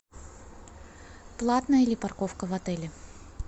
платная ли парковка в отеле